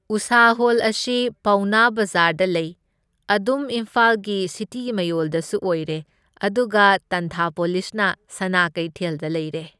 ꯎꯁꯥ ꯍꯣꯜ ꯑꯁꯤ ꯄꯥꯎꯅꯥ ꯕꯖꯥꯔꯗ ꯂꯩ, ꯑꯗꯨꯝ ꯏꯝꯐꯥꯜꯒꯤ ꯁꯤꯇꯤ ꯃꯌꯣꯜꯗꯁꯨ ꯑꯣꯏꯔꯦ, ꯑꯗꯨꯒ ꯇꯥꯟꯊꯥꯄꯣꯂꯤꯁꯅ ꯁꯅꯥ ꯀꯩꯊꯦꯜꯗ ꯂꯩꯔꯦ꯫